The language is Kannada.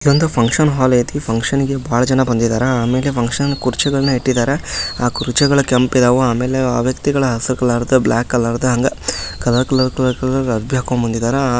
ಇದು ಒಂದು ಫಂಕ್ಷನ್ ಹಾಲ್ ಐತಿ ಫಂಕ್ಷನ್ ಗೆ ಬಹಳ ಜನ ಬಂದಿದ್ದಾರೆ ಆಮೇಲೆ ಫಂಕ್ಷನ್ನಲ್ಲಿ ಕುರ್ಚಿಗಳನ್ನು ಇಟ್ಟಿದ್ದಾರೆ ಆ ಕುರ್ಚಿಗಳು ಕೆಂಪ್ ಇದ್ದಾವೆ ಆಮೇಲೆ ವ್ಯಕ್ತಿಗಳ ಹಸಿರು ಕಲರ್ದು ಬ್ಲಾಕ್ ಕಲರ್ದು ಹಂಗೆ ಕಲರ್ ಕಲರ್ ಕಲರ್ ಕಲರ್ದು ಅರಬಿ ಹಾಕೋ ಬಂದಿದ್ದಾರ --